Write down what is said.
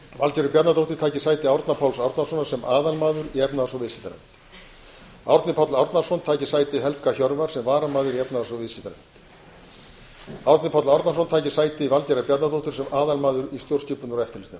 valgerður bjarnadóttir taki sæti árna páls árnasonar sem aðalmaður í efnahags og viðskiptanefnd árni páll árnason taki sæti helga hjörvars sem varamaður í efnahags og viðskiptanefnd árni páll árnason taki sæti valgerðar bjarnadóttur sem aðalmaður í stjórnskipunar og eftirlitsnefnd